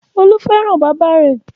Olú fẹ́ràn bàbá rẹ̀.